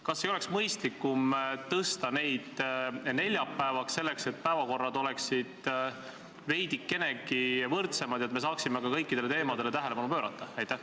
Kas ei oleks mõistlikum tõsta need neljapäevale, et päevakorrad oleksid veidikenegi võrdsemad ja et me saaksime kõikidele teemadele tähelepanu pöörata?